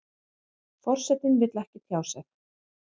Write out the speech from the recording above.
Forsetinn vill ekki tjá sig